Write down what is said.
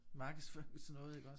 Markedsførelses noget iggås